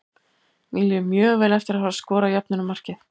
Mér líður mjög vel eftir að hafa skorað jöfnunarmarkið.